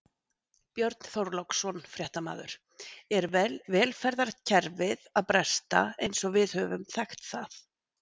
Björn Þorláksson, fréttamaður: Er velferðarkerfið að bresta eins og við höfum þekkt það?